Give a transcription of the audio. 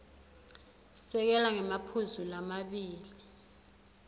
sekela ngemaphuzu lamabili